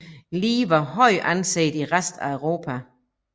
Lie var højt anset i resten af Europa